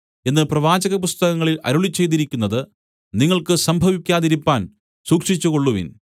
എന്ന് പ്രവാചകപുസ്തകങ്ങളിൽ അരുളിച്ചെയ്തിരിക്കുന്നത് നിങ്ങൾക്ക് സംഭവിക്കാതിരിപ്പാൻ സൂക്ഷിച്ചുകൊള്ളുവിൻ